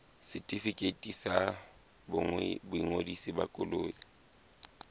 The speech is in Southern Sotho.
setefikeiti sa boingodiso ba koloi